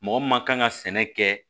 Mɔgɔ min ma kan ka sɛnɛ kɛ